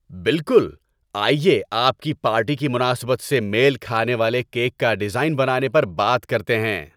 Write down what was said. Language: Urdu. بالکل! آئیے آپ کی پارٹی کی مناسبت سے میل کھانے والے کیک کا ڈیزائن بنانے پر بات کرتے ہیں۔